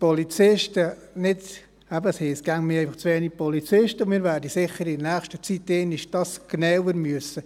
Es heisst immer, wir hätten einfach zu wenige Polizisten, und wir werden dies sicher in der nächsten Zeit einmal genauer anschauen müssen.